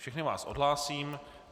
Všechny vás odhlásím.